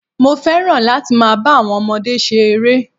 Mo fẹ́ràn láti máa ba àwon ọmọdé se ere